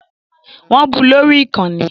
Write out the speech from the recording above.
Wọ́n bu lórí ìkànnì